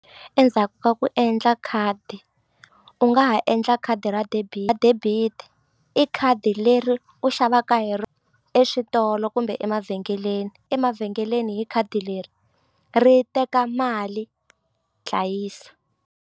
Endzhaku ka ku endla khadi u nga ha endla khadi ra ra debit i khadi leri u xavaka hi exitolo kumbe emavhengeleni emavhengeleni hi khadi leri ri teka mali dlayisa.